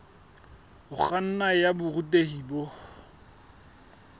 ho kganna ya borutehi bo